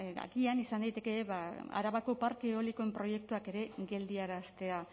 agian izan daiteke arabako parke eolikoen proiektuak geldiaraztea